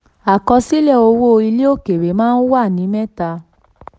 37. àkọsílẹ̀ owó ilẹ̀ òkèèrè maa ń wà ní mẹ́ta.